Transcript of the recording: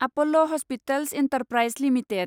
Apollo hospitals enterprise limited